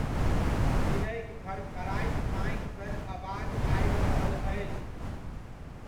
चिड़ैक फड़फड़ाइत पाँखि सन अबाज आबि रहल अछि।